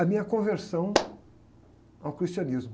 A minha conversão ao cristianismo.